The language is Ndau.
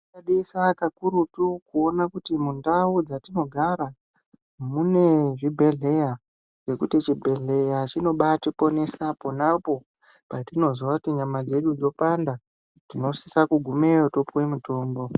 Tinosisa kakurutu kuona kuti mundau dzatinogara mune zvibhedhleya ngekuti chibhedhleya chinobaatiponesa ponapo patinozwa kuti nyama dzedu dzopanda tinosisa kugumeyo topuwe mutombo.